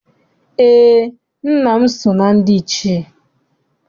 Eé, nna m so na ndị Ichie.